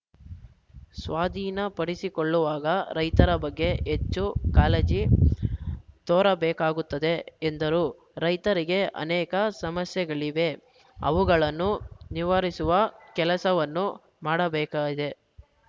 ಸ್ವಾಧೀನಪಡಿಸಿಕೊಳ್ಳುವಾಗ ರೈತರ ಬಗ್ಗೆ ಹೆಚ್ಚು ಕಾಳಜಿ ತೋರಬೇಕಾಗುತ್ತದೆ ಎಂದರು ರೈತರಿಗೆ ಅನೇಕ ಸಮಸ್ಯೆಗಳಿವೆ ಅವುಗಳನ್ನು ನಿವಾರಿಸುವ ಕೆಲಸವನ್ನು ಮಾಡಬೇಕಾಗಿದೆ